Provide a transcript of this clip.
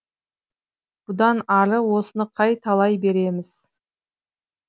бұдан ары осыны қай талай береміз